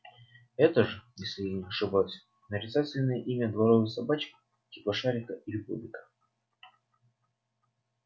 это же если я не ошибаюсь нарицательное имя дворовой собачки типа шарика или бобика